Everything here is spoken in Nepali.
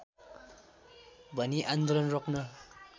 भनी आन्दोलन रोक्न